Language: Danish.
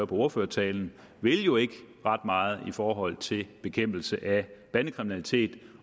på ordførertalen vil jo ikke ret meget i forhold til bekæmpelse af bandekriminalitet